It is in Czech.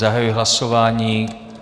Zahajuji hlasování.